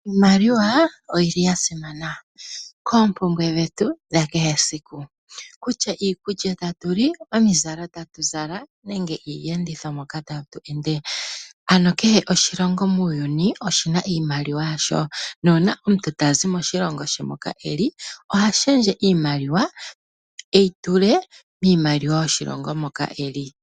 Iimaliwa oyili yasimana koompumbwe dhetu dhakehe esiku kutya iikulya tatu li, omuzalo tatu zala nenge iiyenditho moka tatu ende. Ano kehe oshilongo muuyuni oshina iimaliwa yasho, nuuna omuntu tazi moshilongo she moka eli ohalundulula iimaliwa e yi tule miimaliwa yoshilongo moka eli.